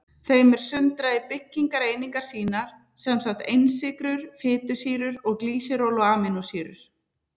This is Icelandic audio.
Þeim er sundrað í byggingareiningar sínar, sem sagt einsykrur, fitusýrur og glýseról og amínósýrur.